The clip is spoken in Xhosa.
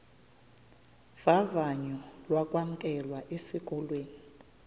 vavanyo lokwamkelwa esikolweni